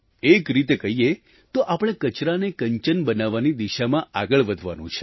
એક રીતે કહીએ તો આપણે કચરાને કંચન બનાવવાની દિશામાં આગળ વધવાનું છે